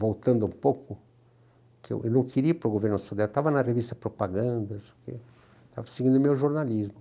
Voltando um pouco, eu não queria ir para o governo do Sodré, estava na revista Propaganda, não sei o que, estava seguindo o meu jornalismo.